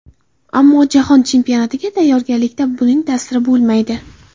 Ammo jahon chempionatiga tayyorgarlikka buning ta’siri bo‘lmaydi.